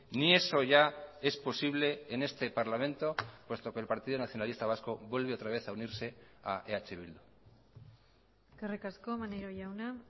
ni eso ya es posible en este parlamento puesto que el partido nacionalista vasco vuelve otra vez a unirse a eh bildu eskerrik asko maneiro jauna